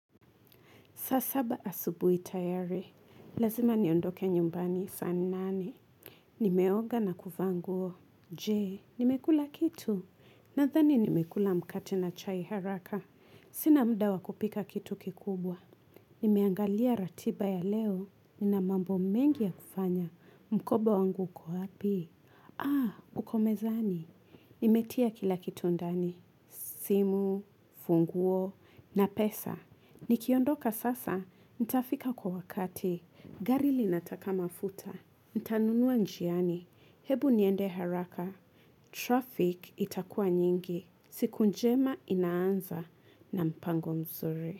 Saa saba asubuhi tayari, lazima niondoke nyumbani saa nane. Nimeoga na kuvaa nguo, jee, nimekula kitu. Nadhani nimekula mkate na chai haraka. Sina muda wa kupika kitu kikubwa. Nimeangalia ratiba ya leo, nina mambo mengi ya kufanya. Mkoba wangu uko wapi? Aa, uko mezani. Nimetia kila kitu ndani. Simu, funguo, na pesa. Nikiondoka sasa, nitafika kwa wakati, gari linataka mafuta, nitanunua njiani, hebu niende haraka, traffic itakuwa nyingi, siku njema inaanza na mpango mzuri.